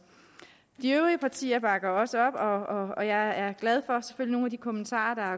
de øvrige partier bakker også op og og jeg er glad for nogle af de kommentarer